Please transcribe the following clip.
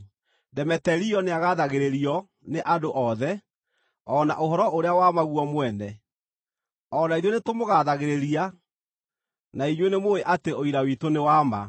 Demeterio nĩagathagĩrĩrio nĩ andũ othe, o na ũhoro ũrĩa wa ma guo mwene. O na ithuĩ nĩtũmũgaathagĩrĩria, na inyuĩ nĩmũũĩ atĩ ũira witũ nĩ wa ma.